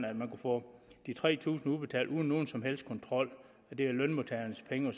at man kunne få de tre tusind kroner udbetalt uden nogen som helst kontrol det er lønmodtagernes penge og